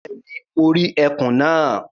Bẹ́ẹ̀ni, mo rí ẹkùn náà.